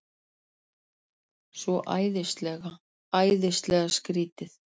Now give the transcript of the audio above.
Svo æðislega, æðislega skrýtið.